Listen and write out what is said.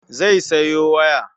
Zai sayo waya.